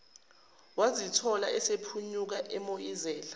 wazithola esephunyuka emoyizela